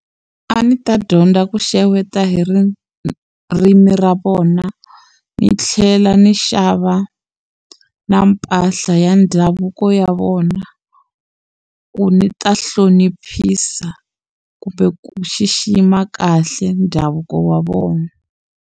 A ndzi ta dyondza ku xeweta hi ririmi ra vona ndzi tlhela ni xava na mpahla ya ndhavuko ya vona ku ndzi ta hloniphisa kumbe ku xixima kahle ndhavuko wa vona.